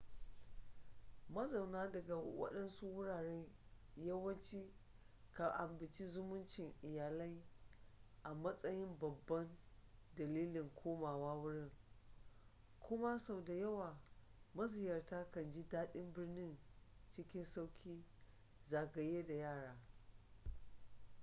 mazauna daga waɗansu wuraren yawanci kan ambaci zumuncin iyalai a matsayin babban dalilin komawa wurin kuma sau da yawa maziyarta kan ji daɗin birnin cikin sauƙi zagaye da yara